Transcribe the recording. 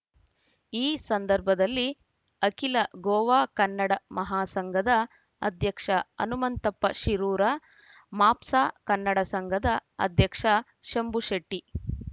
ಈ ಸಂದರ್ಭದಲ್ಲಿ ಅಖಿಲ ಗೋವಾ ಕನ್ನಡ ಮಹಾಸಂಘದ ಅಧ್ಯಕ್ಷ ಹನುಮಂತಪ್ಪ ಶಿರೂರ ಮಾಪ್ಸಾ ಕನ್ನಡ ಸಂಘದ ಅಧ್ಯಕ್ಷ ಶಂಭು ಶೆಟ್ಟಿ